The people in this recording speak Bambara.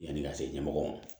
Yanni ka se ɲɛmɔgɔw ma